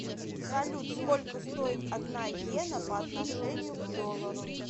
салют сколько стоит одна йена по отношению к доллару